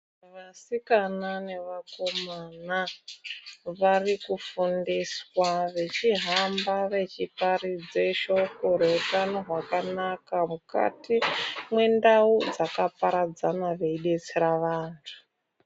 Vasikana nevakomana varikufundiswa vachihamba, vechiparidza shoko reutano hwakanaka mukati mendau dzakaparadzana veibetsera vantu.